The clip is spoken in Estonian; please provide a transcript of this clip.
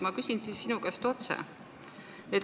Ma küsin siis sinu käest otse.